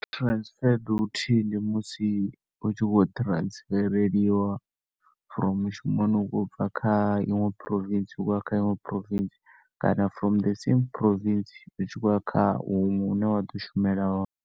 Transfer duty ndi musi u tshi khou transfereliwa from mushumoni ubva kha iṅwe province u tshi khouya kha iṅwe province, kana from the same province u tshi khouya huṅwe hu ne wa ḓo shumela hone.